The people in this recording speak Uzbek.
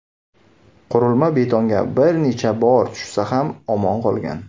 Qurilma betonga bir necha bor tushsa ham omon qolgan .